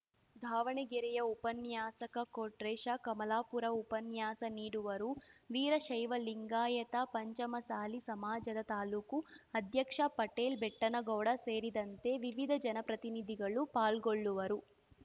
ದಾವಣಗೆರೆಯ ಉಪನ್ಯಾಸಕ ಕೊಟ್ರೇಶ ಕಮಲಾಪುರ ಉಪನ್ಯಾಸ ನೀಡುವರು ವೀರಶೈವ ಲಿಂಗಾಯತ ಪಂಚಮಸಾಲಿ ಸಮಾಜದ ತಾಲೂಕು ಅಧ್ಯಕ್ಷ ಪಟೇಲ್‌ ಬೆಟ್ಟನಗೌಡ ಸೇರಿದಂತೆ ವಿವಿಧ ಜನಪ್ರತಿನಿಧಿಗಳು ಪಾಲ್ಗೊಳ್ಳುವರು